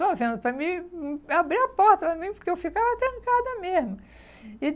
E ficou olhando para mim e abriu a porta para mim porque eu ficava trancada mesmo.